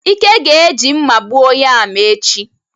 Ike ga-eji mma gbuo yam echi